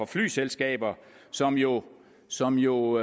flyselskaber som jo som jo